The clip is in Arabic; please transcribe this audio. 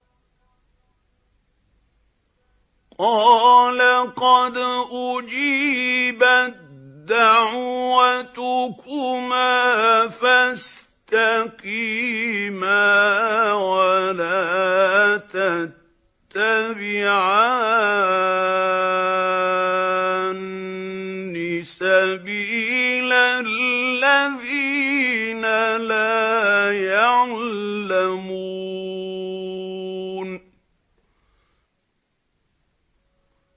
قَالَ قَدْ أُجِيبَت دَّعْوَتُكُمَا فَاسْتَقِيمَا وَلَا تَتَّبِعَانِّ سَبِيلَ الَّذِينَ لَا يَعْلَمُونَ